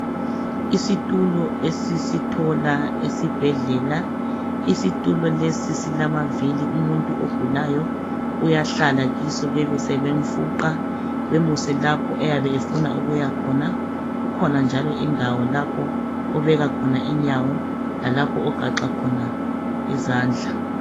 Isitulo esisithola esibhedlela. Isitulo lesi silamavili, umuntu ogulayo uyahlala kiso bebe sebemfuqa bemuse lapho ayabe efuna ukuya khona. Kukhona njalo indawo lapho obeka khona inyawo lalapho ogaxa khona izandla.